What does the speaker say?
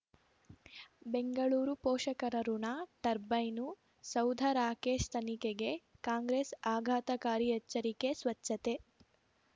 ಬೆಂಗಳೂರು ಪೋಷಕರಋಣ ಟರ್ಬೈನು ಸೌಧ ರಾಕೇಶ್ ತನಿಖೆಗೆ ಕಾಂಗ್ರೆಸ್ ಆಘಾತಕಾರಿ ಎಚ್ಚರಿಕೆ ಸ್ವಚ್ಛತೆ